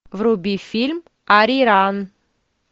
вруби фильм ариран